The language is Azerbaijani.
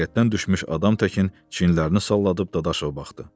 Taqətdən düşmüş adam təkin çiyinlərini salladıb Dadaşova baxdı.